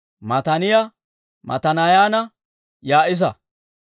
Mataaniyaa Matanaayanne Yaa'isa.